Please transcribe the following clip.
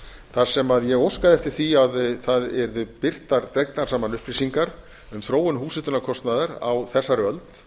þar sem ég óskaði eftir því að það yrðu birtar dregnar saman upplýsingar um þróun húshitunarkostnaðar á þessari öld